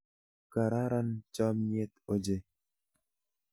Kararan chomnyet ochei.